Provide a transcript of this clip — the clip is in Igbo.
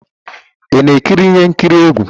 Ị na-ekiri ihe nkiri egwu?